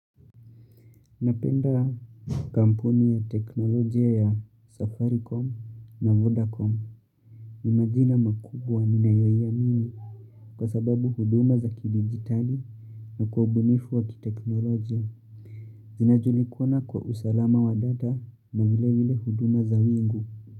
Napenda kampuni ya teknolojia ya safaricom na vodacom. Ni majina makubwa ninayoiamimi kwa sababu huduma za kidigitali na kwa ubunifu wa kiteknolojia. Zinajulikana kwa usalama wa data na vile huduma za wingu.